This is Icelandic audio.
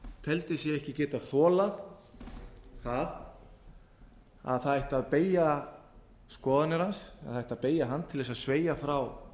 teldi sig ekki geta þolað það að beygja ætti skoðanir hans eða beygja ætti hann til að sveigja frá